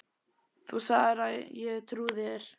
. þú sagðir það og ég trúði þér.